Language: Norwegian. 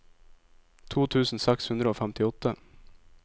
to tusen seks hundre og femtiåtte